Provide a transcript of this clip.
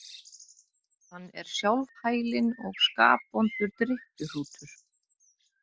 Hann er sjálfhælinn og skapvondur drykkjuhrútur.